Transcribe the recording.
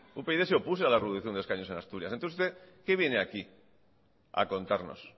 upyd se opuso a la reducción de escaños en asturias entonces usted qué viene aquí a contarnos